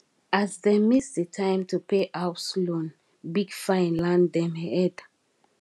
as dem miss the time to pay house loan big fine land dem head